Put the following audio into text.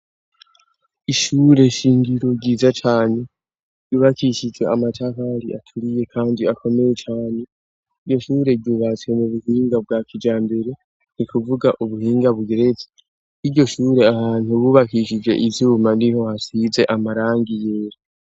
Ishure shingiro ryiza cane yubakishije amatafari aturiye kandi akomeye cyane iryoshure ryubatse mu buhinga bwa kijambere ni kuvuga ubuhinga bugeretse n'iryo shure ahantu bubakishije izuma niho hasize amarangi yera.